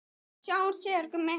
Við sjáumst síðar, Gummi.